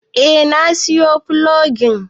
Eh na siyo fulogin